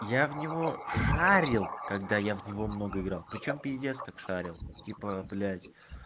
я в него шарил когда я в него много играл причём пиздец как шарил типа блядь